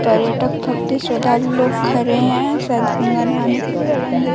पर्यटक श्रद्धालु लोग खड़े है शायद गंगा नहाने के लिए ।